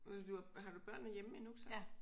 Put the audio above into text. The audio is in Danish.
Og du har du børnene hjemme endnu så?